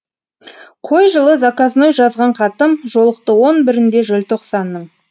қой жылы заказной жазған хатым жолықты он бірінде желтоқсанның